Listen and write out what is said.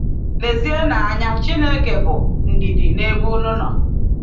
Lezienụ anya, Chineke bụ “ndidi n’ebe unu nọ”